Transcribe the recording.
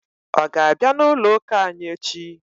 Ọ ga-abịa n'ụlọụ́kà anyị echi?